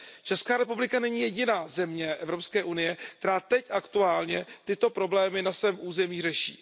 Česká republika není jediná země EU, která teď aktuálně tyto problémy na svém území řeší.